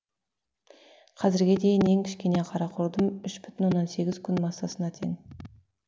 қазірге дейін ең кішкене қара құрдым үш бүтін оннан сегіз күн массасына тең